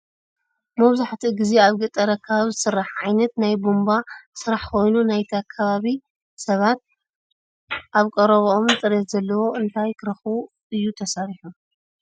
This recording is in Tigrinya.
መብዛሕቲኡ ግዜ ኣብ ገጣር ኣከባቢ ዝስራሕ ዓይነት ናይ ቡንባ ስራሕ ኮይኑ ናይቲ ከባቢ ሰባት ኣብ ቀረበኦምን ፅሬት ዘለዎ እንታይ ክረክቡ እዩ ተሰሪሑ?